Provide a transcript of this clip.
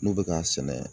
N'u bɛ k'a sɛnɛ